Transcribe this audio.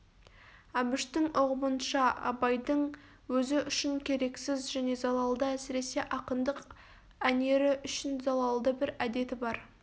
әбіштің ұғымынша абайдың өзі үшін керексіз және залалды әсіресе ақындық әнері үшін залалды бір әдеті бар